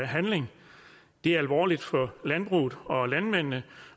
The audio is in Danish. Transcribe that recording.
handling det er alvorligt for landbruget og landmændene